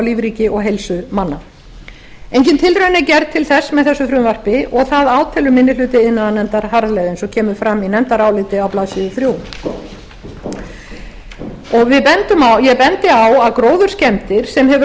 lífríki og heilsu manna engin tilraun er gerð til þess með þessu frumvarpi og það átelur minni hluti iðnaðarnefndar harðlega eins og kemur fram í nefndaráliti á blaðsíðu þriðja og ég bendi á að gróðurskemmdir sem hefur